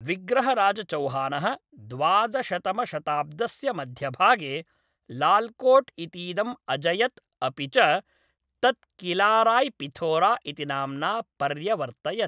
विग्रहराजचौहानः द्वादशतमशताब्दस्य मध्यभागे लाल् कोट् इतीदम् अजयत् अपि च तत् किलाराय्पिथोरा इति नाम्ना पर्यवर्तयत्।